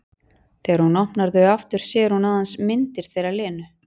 Þegar hún opnar þau aftur sér hún aðeins myndir þeirra Lenu.